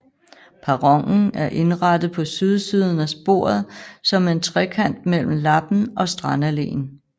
Perronen er indrettet på sydsiden af sporet som en trekant mellem Lappen og Strandalleen